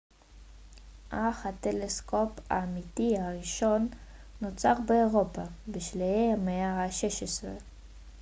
אך הטלסקופ האמיתי הראשון נוצר באירופה בשלהי המאה ה-16